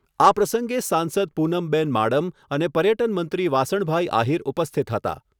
આ પ્રસંગે સાંસદ પૂનમબેન માડમ અને પર્યટન મંત્રી વાસણભાઈ આહિર ઉપસ્થિત હતા.